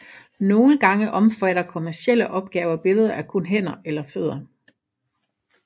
Nogle gange omfatter kommercielle opgaver billeder af kun hænder eller fødder